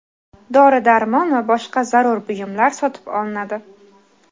dori-darmon va boshqa zarur buyumlar sotib olinadi.